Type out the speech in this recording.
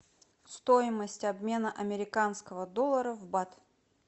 стоимость обмена американского доллара в бат